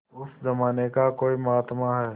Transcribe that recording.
उस जमाने का कोई महात्मा है